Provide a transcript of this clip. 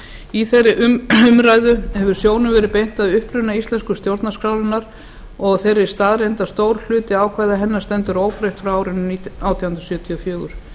í þeirri umræðu hefur sjónum verið beint að uppruna íslensku stjórnarskrárinnar og þeirri staðreynd að stór hluti ákvæða hennar stendur óbreyttur frá árinu átján hundruð sjötíu og fjögur